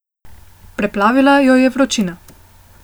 Preplavila jo je vročina.